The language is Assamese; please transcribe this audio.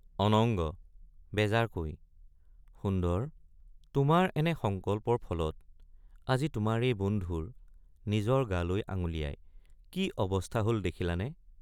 অনঙ্গ— বেজাৰকৈ সুন্দৰ তোমাৰ এনে সংকল্পৰ ফলত আজি তোমাৰ এই বন্ধুৰ নিজৰ গালৈ আঙুলিয়াই কি অৱস্থা হল দেখিলানে?